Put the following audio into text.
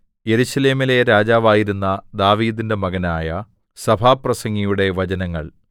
യെരൂശലേമിലെ രാജാവായിരുന്ന ദാവീദിന്റെ മകനായ സഭാപ്രസംഗിയുടെ വചനങ്ങൾ